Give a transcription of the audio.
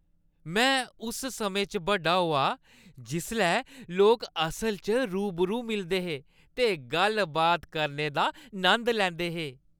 मैं उस समें च बड्डा होआ जिसलै लोक असल च रूबरू मिलदे हे ते गल्ल-बात करने दा नंद लैंदे हे।